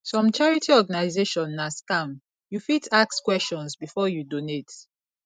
some charity organization na scam you fit ask questions before you donate